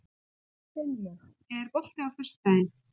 Steinlaug, er bolti á föstudaginn?